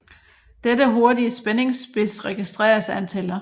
Dette hurtige spændingsspids registreres af en tæller